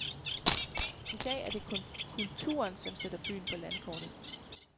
I dag er det kulturen, som sætter byen på landkortet.